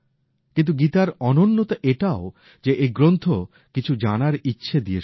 কিন্তু গীতার অনন্যতা এটাও যে এই গ্রন্থ কিছু জানার ইচ্ছে দিয়ে শুরু হয়